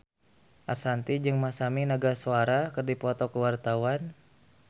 Ashanti jeung Masami Nagasawa keur dipoto ku wartawan